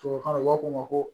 Tubabukan na u b'a fɔ o ma ko